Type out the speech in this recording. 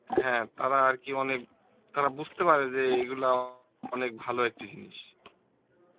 হ্যাঁ তারা আরকি অনেক, তারা বুজতে পারে যে এইগুলা অনেক ভালো একটি জিনিস